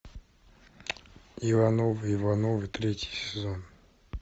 ивановы ивановы третий сезон